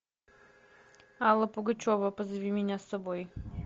алла пугачева позови меня с собой